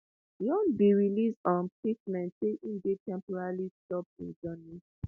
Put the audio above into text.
yoon bin release um statement say im dey temporarily stop im journey